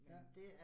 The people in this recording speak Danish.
Ja